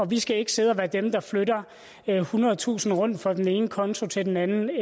vi skal ikke sidde og være dem der flytter ethundredetusind kroner rundt fra den ene konto til den anden